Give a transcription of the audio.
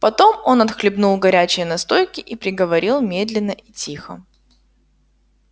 потом он отхлебнул горячей настойки и приговорил медленно и тихо